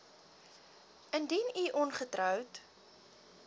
indien u ongetroud